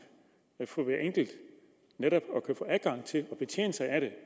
at få adgang til at betjene sig af det